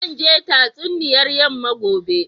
Zan je tatsuniyar yamma gobe.